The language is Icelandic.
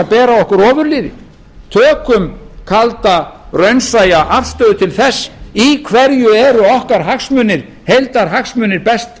bera okkur ofurliði tökum kalda raunsæja afstöðu til þess í hverju eru okkar heildarhagsmunir best